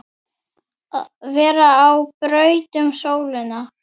vera á braut um sólina